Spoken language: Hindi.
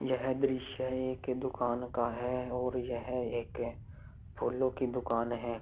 यह दृश्य एक दुकान का है और यह एक फूलों की दुकान है।